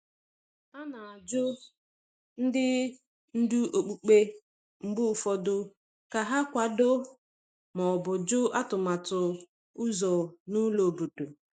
A na-ajụ ndị ndu okpukpe mgbe ụfọdụ ka ha kwado ma ọ bụ jụ atụmatụ ụzọ na ụlọ obodo.